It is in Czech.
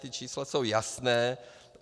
Ta čísla jsou jasná.